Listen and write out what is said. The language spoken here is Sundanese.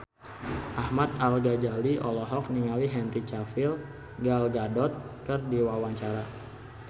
Ahmad Al-Ghazali olohok ningali Henry Cavill Gal Gadot keur diwawancara